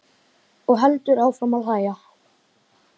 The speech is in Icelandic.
Og heldur áfram að hlæja.